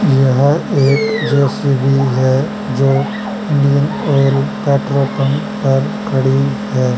यहा एक जे_सी_बी है जो इंडियन ऑयल पेट्रोल पंप पर खड़ी है।